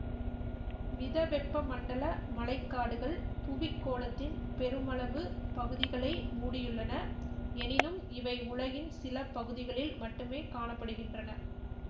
மிதவெப்பமண்டல மழை காடுகள் புவிக்கோளத்தின் பெருமளவு பகுதிகளை மூடியுள்ளன எனினும் இவை உலகின் சில பகுதிகளில் மட்டுமே காண படுகின்றன